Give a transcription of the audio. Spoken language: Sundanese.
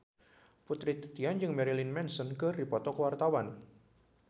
Putri Titian jeung Marilyn Manson keur dipoto ku wartawan